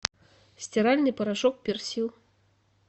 стиральный порошок персил